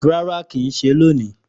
Rárá kìí ṣe lóni